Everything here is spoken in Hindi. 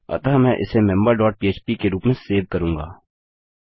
अतः मैं इसे मेंबर डॉट पह्प के रूप में सेव करूँगा